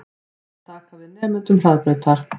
Aðrir taki við nemendum Hraðbrautar